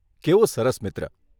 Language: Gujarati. કેવો સરસ મિત્ર!